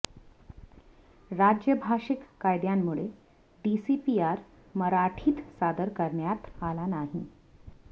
राज्य भाषिक कायद्यामुळे डीसीपीआर मराठीत सादर करण्यात आला नाही